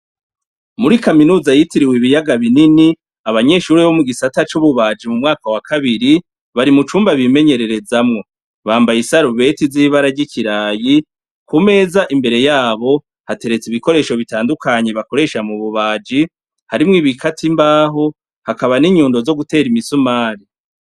Muri kaminuza yitiriwe ibiyaga binini, abanyeshuri bo mu gisata c'ububaji mu mwaka wa kabiri bari mu cumba bimenyererezamwo, bambaye isarubeti zibara ry'ikirayi ku meza imbere yabo hateretsa ibikoresho bitandukanyi bakoresha mu bubaji harimwo ibikati imbaho hakaba n'inyundo zo gutera imisumari.